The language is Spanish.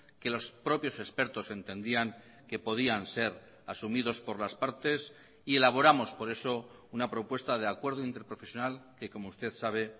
que los propios expertos entendían que podían ser asumidos por las partes y elaboramos por eso una propuesta de acuerdo interprofesional que como usted sabe